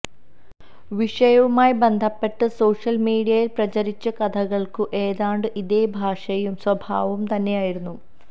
വിഷയവുമായി ബന്ധപ്പെട്ട് സോഷ്യല് മീഡിയയില് പ്രചരിച്ച കഥകള്ക്കും ഏതാണ്ട് ഇതേ ഭാഷയും സ്വഭാവവും തന്നെയായിരുന്നു